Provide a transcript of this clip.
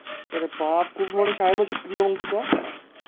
अरे बाप, खूप मोठ्या शाळेमध्ये शिकली का हून तू त्या?